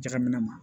Jagaminɛ ma